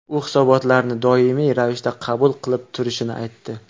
U hisobotlarni doimiy ravishda qabul qilib turishini aytdi.